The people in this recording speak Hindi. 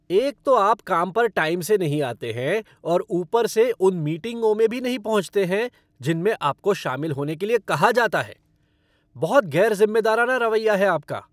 एक तो आप काम पर टाइम से नहीं आते हैं और ऊपर से उन मीटिंगों में भी नहीं पहुँचते हैं जिनमें आपको शामिल होने के लिए कहा जाता है। बहुत गैरज़िम्मेदाराना रवैया है आपका।